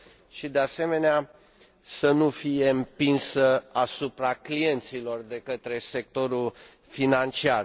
și, de asemenea, să nu fie împins asupra clienților de către sectorul financiar.